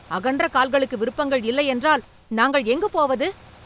அகன்ற கால்களுக்கு விருப்பங்கள் இல்லை என்றால், நாங்கள் எங்கு போவது?